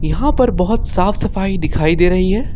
यहां पर बहुत साफ सफाई दिखाई दे रही है।